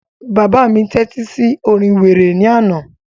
Bàbá mi tẹ́tí sí orin wéré ní àná